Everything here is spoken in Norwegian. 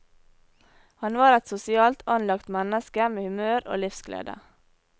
Han var et sosialt anlagt menneske med humør og livsglede.